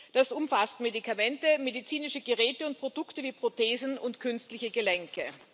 Das umfasst Medikamente, medizinische Geräte und Produkte wie Prothesen und künstliche Gelenke.